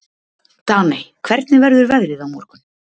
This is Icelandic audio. Daney, hvernig verður veðrið á morgun?